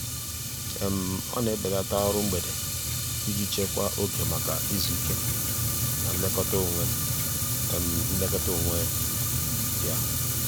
ọ na-ebelata ọrụ mgbede iji chekwaa oge maka izu ike na nlekọta onwe nlekọta onwe ya.